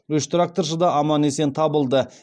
үш тракторшы да аман есен табылды